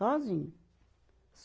Sozinho.